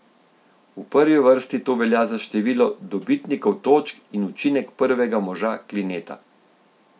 V prvi vrsti to velja za število dobitnikov točk in učinek prvega moža Klineta.